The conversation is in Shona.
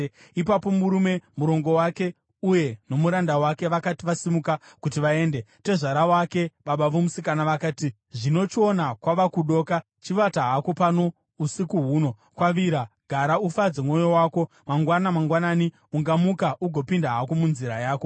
Ipapo murume, murongo wake uye nomuranda wake, vakati vasimuka kuti vaende, tezvara wake, baba vomusikana vakati, “Zvino chiona kwava kudoka. Chivata hako pano usiku huno; kwavira. Gara ufadze mwoyo wako. Mangwana mangwanani, ungamuka ugopinda hako munzira yako.”